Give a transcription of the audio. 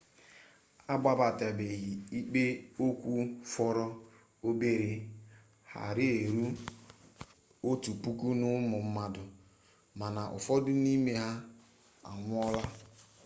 akpabatabeghị ikpe okwu fọrọ obere ghara eru otu puku n'ụmụ mmadụ mana ụfọdụ n'ime ha anwụọla